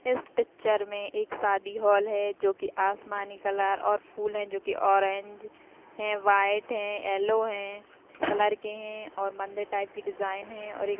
इस पिक्चर में एक सादी हॉल है जो कि आसमानी कलर और फूल हैं जो कि ऑरेंज हैं वाइट हैं येलो हैं कलर के हैं और मंदिर टाईप की डिज़ाइन है और एक--